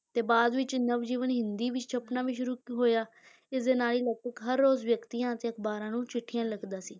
ਤੇ ਬਾਅਦ ਵਿੱਚ ਨਵਜੀਵਨ ਹਿੰਦੀ ਵਿੱਚ ਛਪਣਾ ਵੀ ਸ਼ੁਰੂ ਹੋਇਆ ਇਸਦੇ ਨਾਲ ਹੀ ਲਗਭਗ ਹਰ ਰੋਜ਼ ਵਿਅਕਤੀਆਂ ਅਤੇ ਅਖ਼ਬਾਰਾਂ ਨੂੰ ਚਿੱਠੀਆਂ ਲਿਖਦਾ ਸੀ।